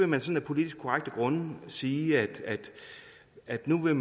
man sådan af politisk korrekte grunde vil sige at nu